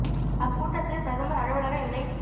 அக்கூட்டத்தில் பிரதமர் அலுவலக இணைச்